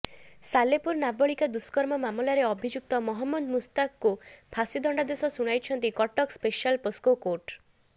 ସାଲେପୁର ନାବାଳିକା ଦୁଷ୍କର୍ମ ମାମଲାରେ ଅଭିଯୁକ୍ତ ମହମ୍ମଦ ମୁସ୍ତାକକୁ ଫାଶୀ ଦଣ୍ଡାଦେଶ ଶୁଣାଇଛନ୍ତି କଟକ ସ୍ପେଶାଲ ପକ୍ସୋ କୋର୍ଟ